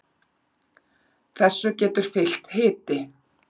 þessu getur fylgt hiti